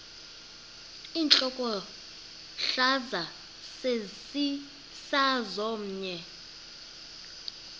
intlokohlaza sesisaz omny